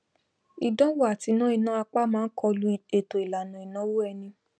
ìdánwò àti ná ìná àpà máá kọlu ètò ìlànà ìnáwó ẹni